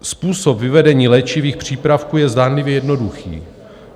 Způsob vyvedení léčivých přípravků je zdánlivě jednoduchý.